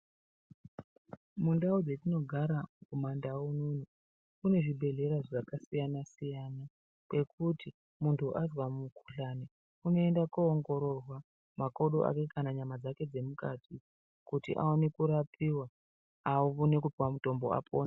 Mundau dzetinogara kumandau unono kunezvibhedhlera zvakasiyana siyana pekuti muntu azwa mukhuhlane unoenda koongororwa makodo ake kana nyama dzake dzemukati kuti aone kurapiwa aone kupuwa kutombo apone.